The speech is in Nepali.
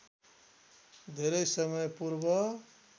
धेरै समय पूर्व